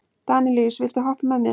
Danelíus, viltu hoppa með mér?